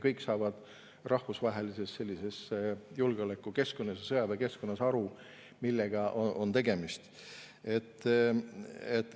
Kõik saavad rahvusvahelises julgeolekukeskkonnas, sõjaväekeskkonnas aru, millega on tegemist.